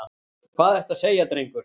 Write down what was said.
Hvað ertu að segja, drengur?